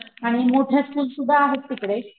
आणि मोठ्या स्कुल सुद्धा आहेत तिकडे,